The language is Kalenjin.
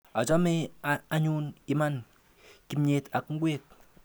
Ichame anyun iman kimnyet ak ngwek.